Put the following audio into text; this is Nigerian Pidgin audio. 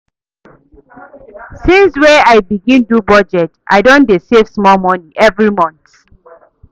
Since wey I begin do budget, I don dey save small moni every month.